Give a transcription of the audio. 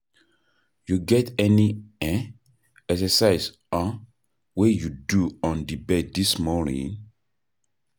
You get any um exercise um wey you do on di bed dis morning?